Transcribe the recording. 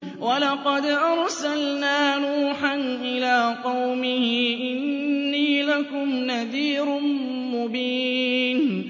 وَلَقَدْ أَرْسَلْنَا نُوحًا إِلَىٰ قَوْمِهِ إِنِّي لَكُمْ نَذِيرٌ مُّبِينٌ